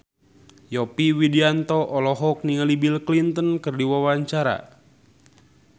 Yovie Widianto olohok ningali Bill Clinton keur diwawancara